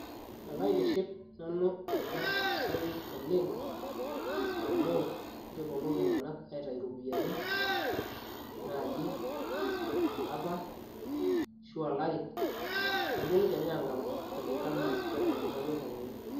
ekaitiship nanu ena siai oleng amu keponu iltung'anak aitayu iropiyiani naaji olapa ashu olari neponu kenya aang'amu kulingana enaa enaitayuo olyung'ani.